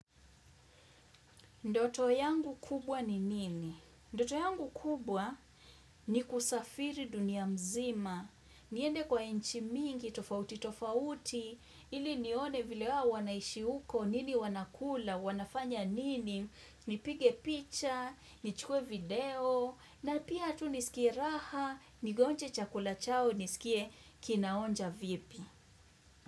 Ndoto yangu kubwa ni nini? Ndoto yangu kubwa ni kusafiri dunia mzima. Niende kwa inchi mingi, tofauti, tofauti. Ili nione vile wawanaishi huko, nini wanakula, wanafanya nini. Nipige picha, nichukue video. Na pia tu nisikie raha, nigonje chakula chao, nisikie kinaonja vipi.